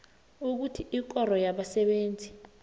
ukuthi ikoro yabasebenzi